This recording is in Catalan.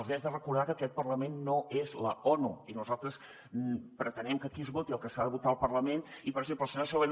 els hi haig de recordar que aquest parlament no és l’onu i nosaltres pretenem que aquí es voti el que s’ha de votar al parlament i per exemple la senyora segovia